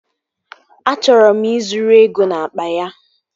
Achọrọ m ị zuru ego n'akpa ya